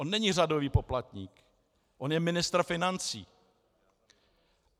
On není řadový poplatník, on je ministr financí.